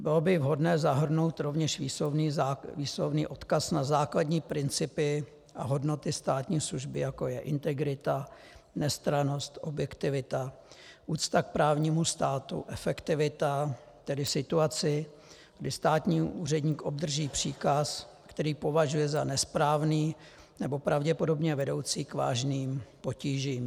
Bylo by vhodné zahrnout rovněž výslovný odkaz na základní principy a hodnoty státní služby, jako je integrita, nestrannost, objektivita, úcta k právnímu státu, efektivita; tedy situaci, kdy státní úředník obdrží příkaz, který považuje za nesprávný nebo pravděpodobně vedoucí k vážným potížím.